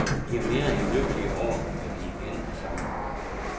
De er mere end lykkelige over, at de igen er sammen.